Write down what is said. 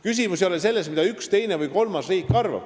Küsimus ei ole selles, mida üks, teine või kolmas riik arvab.